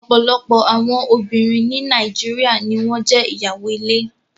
Ọ̀pọ̀lọpọ̀ àwọn obìnrin ní Nàìjíríà ni wọn jẹ́ ìyàwó ilé